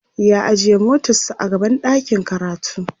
ya ajiye motar sa a gaban ɗakin karatu